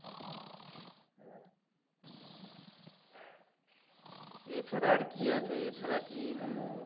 এছাড়া আর কি আছে এছাড়া কি hello